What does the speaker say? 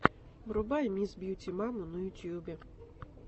врубай мисс бьюти маму на ютубе